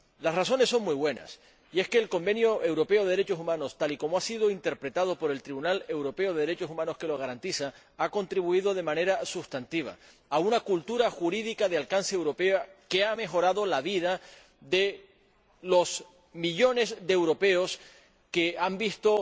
Las razones son muy buenas, y es que el Convenio Europeo de Derechos Humanos, tal y como ha sido interpretado por el Tribunal Europeo de Derechos Humanos que lo garantiza, ha contribuido de manera sustantiva a una cultura jurídica de alcance europeo que ha mejorado la vida de los millones de europeos que han visto